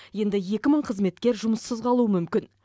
енді екі мың қызметкер жұмыссыз қалуы мүмкін